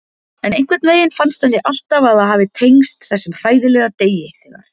En einhvern veginn fannst henni alltaf að það hafi tengst þessum hræðilega degi þegar.